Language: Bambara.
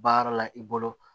Baara la i bolo